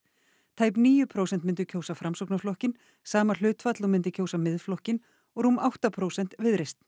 tæp níu prósent myndu kjósa Framsóknarflokkinn sama hlutfall og myndi kjósa Miðflokkinn og rúm átta prósent Viðreisn